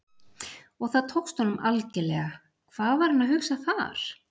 Og það tókst honum algerlega, hvað var hann að hugsa þar?